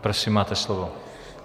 Prosím, máte slovo.